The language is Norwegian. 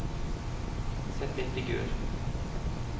sett inn figur